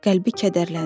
Qəlbi kədərləndi.